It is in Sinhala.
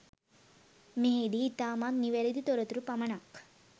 මෙහිදී ඉතාමත් නිවැරදි තොරතුරු පමණක්